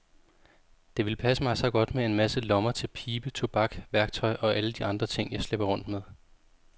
Det ville passe mig så godt med en masse lommer til pibe, tobak, værktøj og alle de andre ting, jeg slæber rundt med.